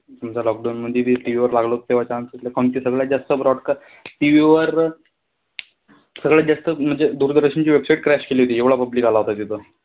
समजा lockdown मधी भी TV वर लागल होता, तेंव्हा आमच्या इथे सगळ्यांत जास्त broadcast TV वर सगळ्यात जास्त म्हणजे दूरदर्शनची website crash केली होती. एवढा public आला होता तिथं.